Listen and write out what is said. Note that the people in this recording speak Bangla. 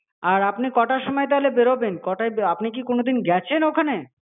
আর আপনি কটার সময় তাহলে বেরোবেন কটাই আপনি কি কোনোদিন গেছেন ওখানে?